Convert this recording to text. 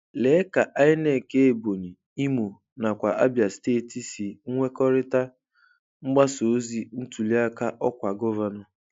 Lee ka INEC Ebonyi, Imo nakwa Abia steeti si nwekọrịta mgbasa ozi ntuliaka ọkwa gọvanọ.